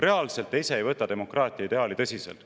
Reaalselt te ise ei võta demokraatia ideaali tõsiselt.